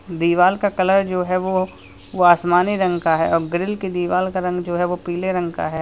दीवाल का कलर जो है वो वो आसमानी रंग का है अब और ग्रिल की दीवार का रंग जो है वो पीले रंग का है।